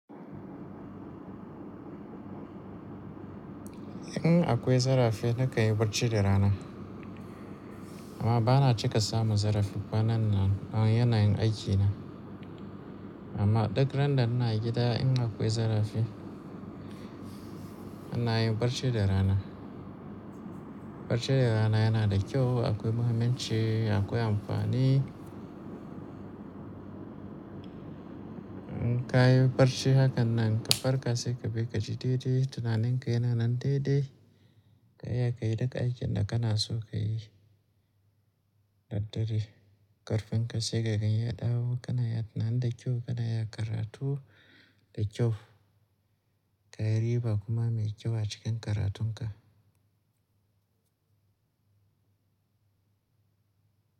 In akwai zarafi nakan yi barci da rana. Amma bana cika samun zarafi ƙanan nan, don yana yin aikina. Amma duk randa ina gida in akwai zarafi, inayin barci da rana. Barci da rana yana da kyau, akwai muhimmanci, akwai amfani. In ka yi barci hakan nan ka farka sai ka bi kaji daidai, tunanin ka yana nan daidai, ka iya ka yi duk aikin da kana so ka yi. Daddare ƙarfin ka sai ka gani ya dawo kana ya tunani da kyau kana iya karatu da kyau. Ka yi riba kuma mai kyau a cikin karatun ka.